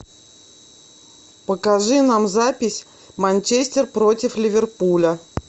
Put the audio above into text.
покажи нам запись манчестер против ливерпуля